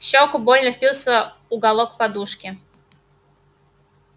в щеку больно впился уголок подушки